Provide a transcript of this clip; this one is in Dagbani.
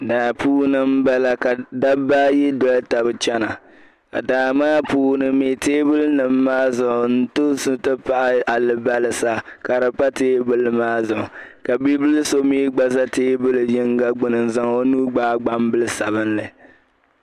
Daa puuni m-bala ka dabba ayi doli taba chana ka daa maa puuni mi teebulinima maa zuɣu kamantoosi nti pahi alibalisa ka di pa teebuli maa zuɣu ka bibila so mi gba za teebuli yiŋga gbini n-zaŋ o nuu gbaai gbambil' sabilinli.